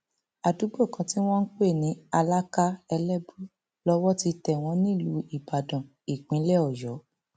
àdúgbò kan tí wọn ń pè ní alaka elébù lọwọ ti tẹ wọn nílùú ìbàdàn ìpínlẹ ọyọ